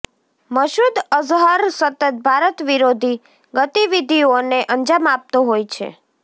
મસૂદ અઝહર સતત ભારત વિરોધી ગતિવિધિઓને અંજામ આપતો હોય છે